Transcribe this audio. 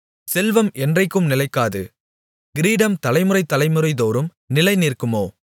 செல்வம் என்றைக்கும் நிலைக்காது கிரீடம் தலைமுறை தலைமுறைதோறும் நிலைநிற்குமோ